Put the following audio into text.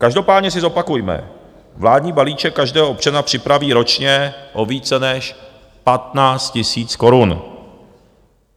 Každopádně si zopakujme - vládní balíček každého občana připraví ročně o více než 15 tisíc korun.